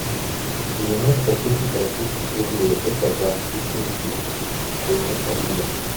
девяносто тысяч российских рублей в казахский тенге стоимость обмена